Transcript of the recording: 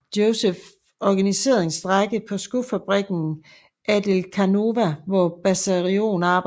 Josef organiserede en strejke på skofabrikken Adelkhanova hvor Besarion arbejdede